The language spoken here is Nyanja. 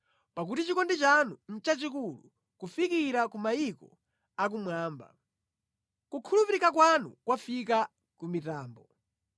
Pakuti chikondi chanu nʼchachikulu, kufikira ku mayiko akumwamba; kukhulupirika kwanu kwafika ku mitambo.